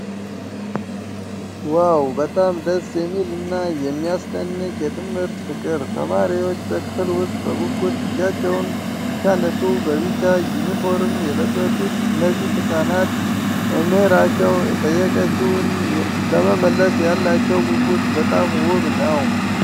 ዋው! በጣም ደስ የሚል እና የሚያስደንቅ የትምህርት ፍቅር! ተማሪዎች በክፍል ውስጥ በጉጉት እጃቸውን ሲያነሱ፤ በቢጫ ዩኒፎርም የለበሱት እነዚህ ሕፃናት መምህራቸው የጠየቀችውን ለመመለስ ያላቸው ጉጉት በጣም ውብ ነው።